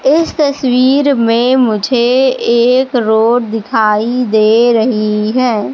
इस तस्वीर मे मुझे एक रोड दिखाई दे रही हैं।